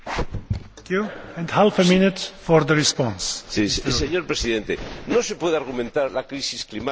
Señor Presidente, no se puede argumentar la crisis climática para tapar una injusticia de estas características.